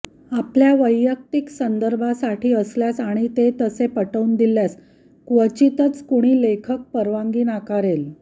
आपल्या वैयक्तिक संदर्भासाठी असल्यास आणि ते तसे पटवून दिल्यास क्वचितच कुणी लेखक परवानगी नाकारेल